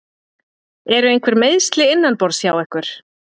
Eru einhver meiðsli innanborðs hjá ykkur?